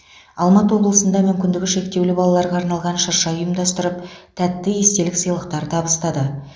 алматы облысында мүмкіндігі шектеулі балаларға арналған шырша ұйымдастырып тәтті естелік сыйлықтар табыстады